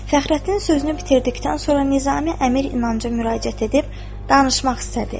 Fəxrəddin sözünü bitirdikdən sonra Nizami Əmir İnanca müraciət edib danışmaq istədi.